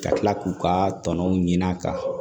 Ka kila k'u ka tɔnɔnw ɲin'a kan